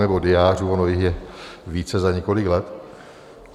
Nebo diářů, ono jich je více za několik let.